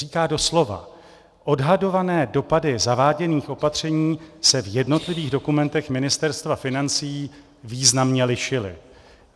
Říká doslova: "Odhadované dopady zaváděných opatření se v jednotlivých dokumentech Ministerstva financí významně lišily.